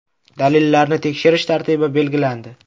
Dalillarni tekshirish tartibi belgilandi.